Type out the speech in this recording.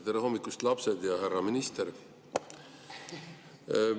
Tere hommikust, lapsed ja härra minister!